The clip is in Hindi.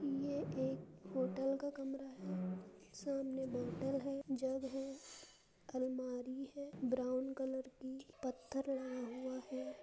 ये एक होटल का कमरा है। सामनें बोतल है जग है अलमारी है ब्रॉउन कलर की पत्थर लगा हुआ है।